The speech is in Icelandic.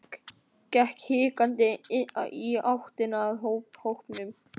Gekk hikandi í áttina að hópnum.